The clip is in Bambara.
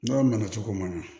N'o nana cogo ma ɲan